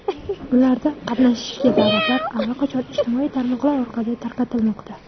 Ularda qatnashishga da’vatlar allaqachon ijtimoiy tarmoqlar orqali tarqatilmoqda.